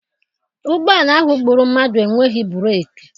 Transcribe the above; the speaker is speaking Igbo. Ụgbọala ahụ gbụrụ mmadụ enweghị breeki.